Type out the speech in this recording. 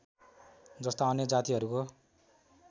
जस्ता अन्य जातिहरूको